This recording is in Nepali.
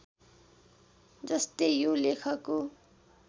जस्तै यो लेखको